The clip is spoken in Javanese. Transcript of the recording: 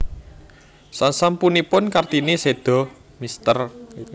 Sasampunipun Kartini séda Mr